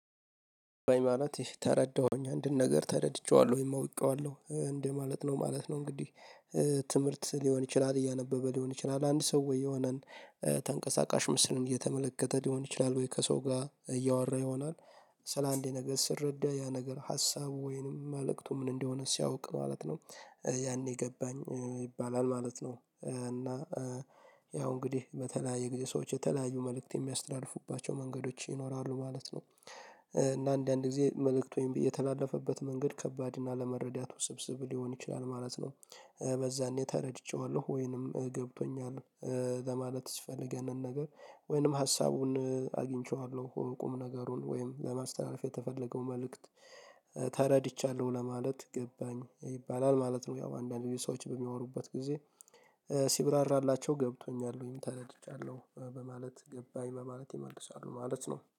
ማለት ተረዳሁኝ አንድን ነገር ተረድቼዋለሁ ወይም አውቄዋለሁ እንደ ማለት ነው ማለት ነው። እንግዲህ ትምህርት ሊሆን ይችላል እያነበበ ሊሆን ይችላል አንድ ሰው ወይ የሆነን ተንቀሳቃሽ ምስልን እየተመለከተ ሊሆን ይችላል ወይ ከሰው ጋር እያወራ ይሆናል ስለአንዴ ነገር ስረዳ ያ ነገር ሀሳብ ወይንም መልእክቱ ምን እንደሆነ ሲያውቅ ማለት ነው። ያኔ ገባኝ ይባላል ማለት ነው። እና ያው እንግዲህ በተለያዩ ጊዜ ሰዎች የተለያዩ መልእክት የሚያስተላልፉባቸው መንገዶች ይኖራሉ ማለት ነው። እና አንዳንድ ጊዜ መልእክት ወይም የተላለፈበት መንገድ ከባድ እና ለመረዳት ውስብስብ ሊሆን ይችላል ማለት ነው። በዛኔ ተረድቼዋለሁ ወይንም ገብቶኛል። ለማለት ሲፈልገንን ነገር ወይንም ሀሳቡን አግኝቼዋለሁ ቁም ነገሩን ወይም ለማስተላለፍ የተፈለገው መልእክት ተረድቻለሁ ለማለት ገባኝ ይባላል ማለት ነው። ያው አንዳንድ ሰዎች በሚያወሩበት ጊዜ ሲብራራላቸው ገብቶኛል ወይም ተረድቻለሁ በማለት ገባኝ በማለት ይመልሳሉ ማለት ነው